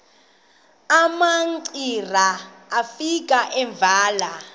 umamcira efika evela